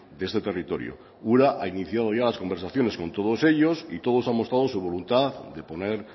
de este territorio ura ha iniciado ya las conversaciones con todos ellos y todos han mostrado su voluntad de poner